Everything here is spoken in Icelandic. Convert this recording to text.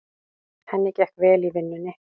Henni gekk vel í vinnunni.